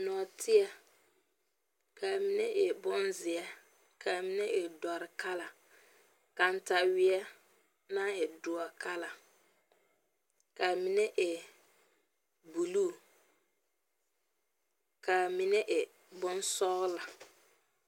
Norteɛ, ka a mene e boŋ zie, ka a mene e doure kala. Kantawie na e duo kala, ka a mene e buluu ka a mene e boŋ sɔgla